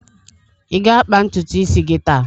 Ị ga-akpa ntutu isi gị taa?